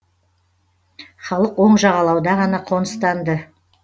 халық оң жағалауда ғана қоныстанды